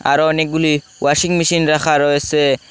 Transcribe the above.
আরো অনেকগুলি washing machine রাখা রয়েসে।